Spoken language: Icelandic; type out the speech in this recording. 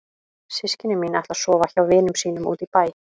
Systkini mín ætla að sofa hjá vinum sínum úti í bæ.